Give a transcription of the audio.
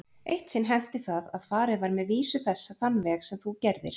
Eitt sinn henti það að farið var með vísu þessa þann veg sem þú gerðir.